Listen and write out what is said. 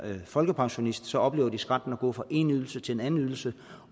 folkepensionist oplever de skrænten at gå fra en ydelse til en anden ydelse